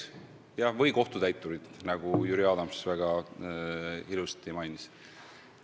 Või kohtutäiturite, nagu Jüri Adams väga õigesti mainis.